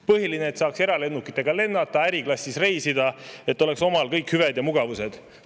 Põhiline, et saaks eralennukitega lennata, äriklassis reisida, et oleks omal kõik hüved ja mugavused.